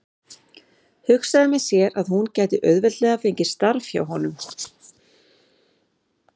Hugsaði með sér að hún gæti auðveldlega fengið starf hjá honum.